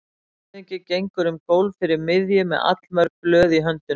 Landshöfðingi gengur um gólf fyrir miðju með allmörg blöð í höndunum.